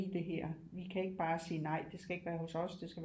I det her vi kan ikke bare sige nej det skal ikke være hos os det skal